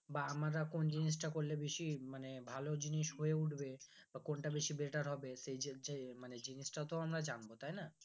বা আমরা কোন জিনিসটা করলে বেশি মানে ভালো জিনিস হয়ে উঠবে বা কোনটা বেশি better হবে সেই জিনিসটাও আমরা জানবো তাই না